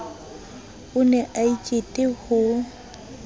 o ne a ikete ho